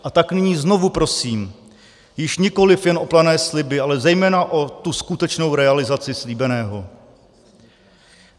A tak nyní znovu prosím již nikoliv jen o plané sliby, ale zejména o tu skutečnou realizaci slíbeného.